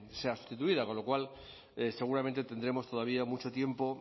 sea sustituida con lo cual seguramente tendremos todavía mucho tiempo